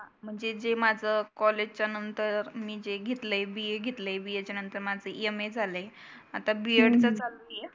म्हणजे माझ कॉलेज च्या नंतर मी जे घेतलय BA घेतलय. BA च्या नंतर माझ MA झालय. आता B एड चं करती आहे.